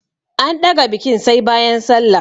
An ɗaga bikin sai bayan sallah.